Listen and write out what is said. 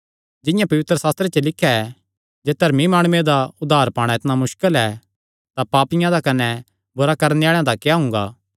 जिंआं पवित्रशास्त्रे च लिख्या ऐ जे धर्मी माणुये दा उद्धार पाणा इतणा मुस्कल ऐ तां पापियां दा कने बुरा करणे आल़ेआं दा क्या हुंगा